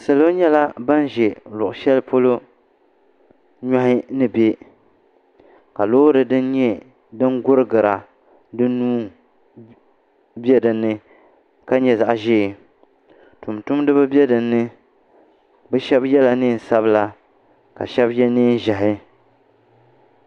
Salo nyɛla ban ʒi luɣ' shɛli polo nyɔhi ni be ka loori din nyɛ din ɡuriɡira di nuu be di ni ka nyɛ zaɣ' ʒee tuntumdiba be di ni bɛ shɛba yɛla neen' sabila ka shɛba ye neen' ʒɛhi